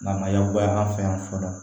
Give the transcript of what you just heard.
Namaya an fɛ yan fɔlɔ